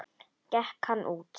Gekk hann út.